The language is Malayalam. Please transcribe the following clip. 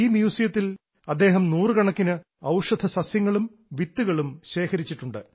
ഈ മ്യൂസിയത്തിൽ അദ്ദേഹം നൂറുകണക്കിന് ഔഷധസസ്യങ്ങളും വിത്തുകളും ശേഖരിച്ചിട്ടുണ്ട്